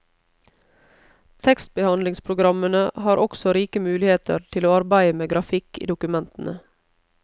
Tekstbehandlingspogrammene har også rike muligheter til å arbeide med grafikk i dokumentene.